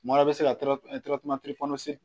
Mɔɔ bɛ se ka